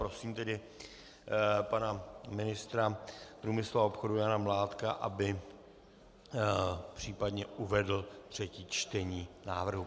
Prosím tedy pana ministra průmyslu a obchodu Jana Mládka, aby případně uvedl třetí čtení návrhu.